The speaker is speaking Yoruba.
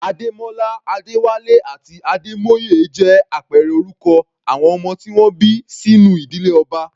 Ademola, Adewale àti Ademoye jẹ́ àpẹẹrẹ orúkọ àwọn ọmọ tí wọ́n bí sínú ìdílé ọba.